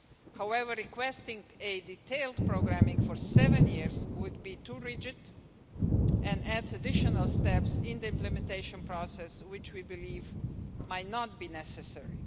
However, requesting a detailed programming for seven years would be too rigid and adds additional steps in the implementation process which we believe might not be necessary.